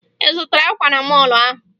Ị zụtara akwa na mọọlụ ahụ?